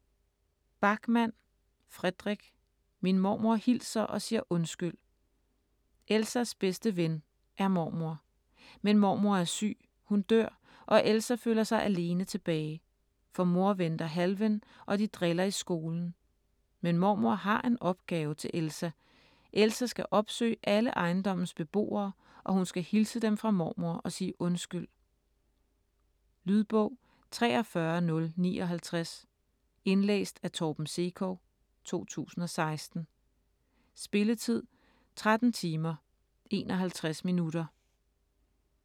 Backman, Fredrik: Min mormor hilser og siger undskyld Elsas bedste ven er mormor. Men mormor er syg, hun dør og Elsa føler sig alene tilbage. For mor venter Halven, og de driller i skolen. Men mormor har en opgave til Elsa. Elsa skal opsøge alle ejendommes beboere, og hun skal hilse dem fra mormor og sige undskyld. Lydbog 43059 Indlæst af Torben Sekov, 2016. Spilletid: 13 timer, 51 minutter.